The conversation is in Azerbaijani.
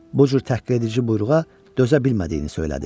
Bu cür təhqiredici buyruğa dözə bilmədiyini söylədi.